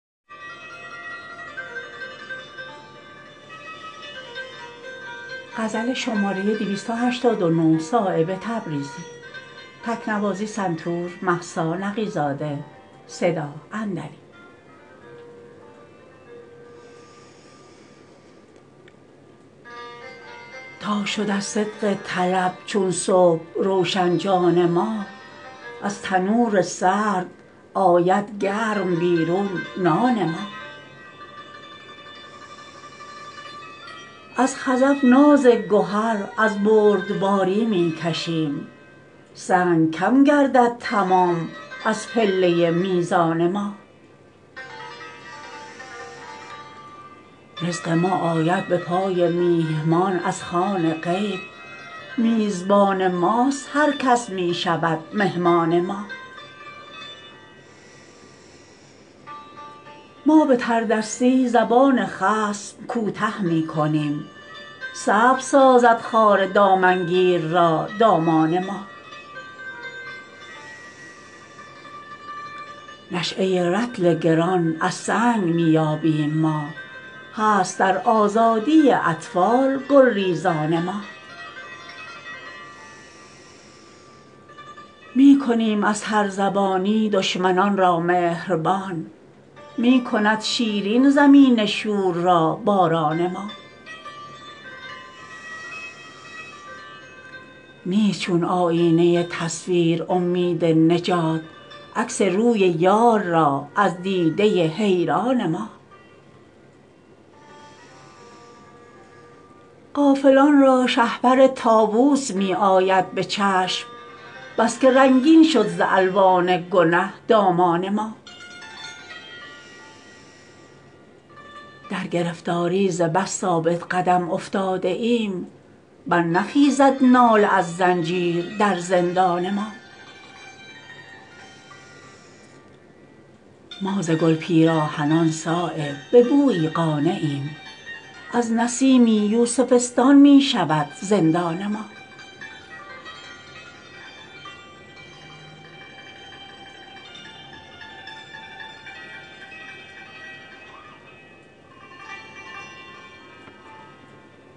تا شد از صدق طلب چون صبح روشن جان ما از تنور سرد آید گرم بیرون نان ما از خزف ناز گهر از بردباری می کشیم سنگ کم گردد تمام از پله میزان ما رزق ما آید به پای میهمان از خوان غیب میزبان ماست هر کس می شود مهمان ما ما به تردستی زبان خصم کوته می کنیم سبز سازد خار دامنگیر را دامان ما نشأه رطل گران از سنگ می یابیم ما هست در آزادی اطفال گلریزان ما می کنیم از ترزبانی دشمنان را مهربان می کند شیرین زمین شور را باران ما نیست چون آیینه تصویر امید نجات عکس روی یار را از دیده حیران ما غافلان را شهپر طاوس می آید به چشم بس که رنگین شد ز الوان گنه دامان ما در گرفتاری ز بس ثابت قدم افتاده ایم برنخیزد ناله از زنجیر در زندان ما ما ز گل پیراهنان صایب به بویی قانعیم از نسیمی یوسفستان می شود زندان ما